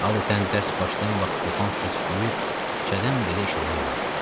Adətən dərs başlayan vaxt qopan səs-küyü küçədən belə eşitmək olardı.